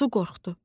Su qorxdu.